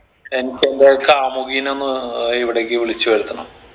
എനിക്ക് എന്റെ കാമുകിനെ ഒന്ന് ഇവിടേക്ക് വിളിച്ച് വരുത്തണം